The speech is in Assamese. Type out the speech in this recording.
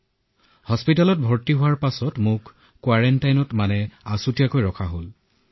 চিকিৎসালয়ত যেতিয়া মোক ভৰ্তি কৰোৱা হলতেতিয়া মোক কোৱাৰেণ্টাইনত থোৱা হল